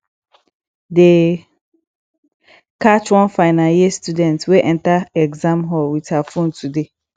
dey catch one final year student wey enter exam hall with her phone today